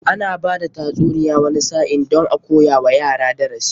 Ana bada tatsuniya wani sa'in don a koya wa yara darasi.